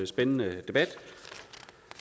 spændende debat